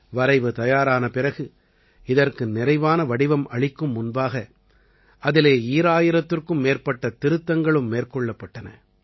வரைவு தயாரான பிறகு இதற்கு நிறைவான வடிவம் அளிக்கும் முன்பாக அதிலே ஈராயிரத்திற்கும் மேற்பட்ட திருத்தங்களும் மேற்கொள்ளப்பட்டன